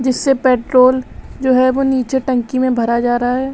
जिससे पेट्रोल जो है वो नीचे टंकी में भरा जा रहा है।